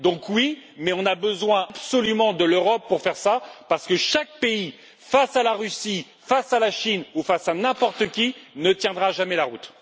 Donc, oui, mais on a absolument besoin de l'Europe pour faire cela, parce que chaque pays, face à la Russie, face à la Chine ou face à n'importe qui, ne tiendra jamais la route.